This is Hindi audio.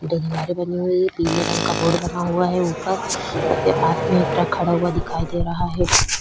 दलियारे बनी हुई हैं पिले रंग का बोर्ड बना हुआ है ऊपर एक पास में एक ट्रक खड़ा हुआ दिखाई दे रहा है।